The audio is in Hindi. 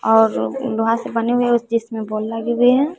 और लोहा से बने हुए है जिसमें बॉल लगे हुए हैं।